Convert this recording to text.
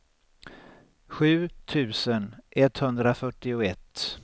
sju tusen etthundrafyrtioett